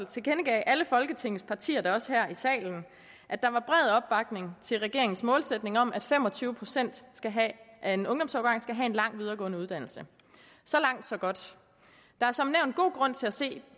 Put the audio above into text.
tilkendegav alle folketingets partier da også her i salen at der var bred opbakning til regeringens målsætning om at fem og tyve procent af en ungdomsårgang skal have en lang videregående uddannelse så langt så godt der er som nævnt god grund til at se